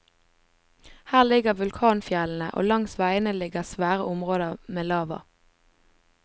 Her ligger vulkanfjellene, og langs veiene ligger svære områder men lava.